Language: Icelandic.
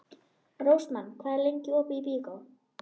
Rósmann, hvað er lengi opið í Byko?